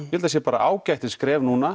það sé bara ágætis skref núna